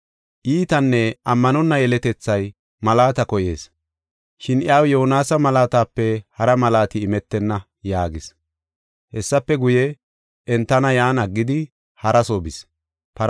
Iitanne ammanonna yeletethay malaata koyees. Shin iyaw Yoonasa malaatape hara malaati imetenna” yaagis. Hessafe guye, entana yan aggidi hara soo bis.